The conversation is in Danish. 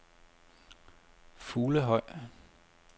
Fuglehøj